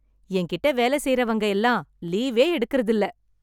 என் கிட்ட வேலை செய்றவங்க எல்லாம் லீவே எடுக்குறது இல்ல.